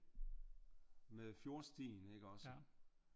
Med fjordstien ikke også?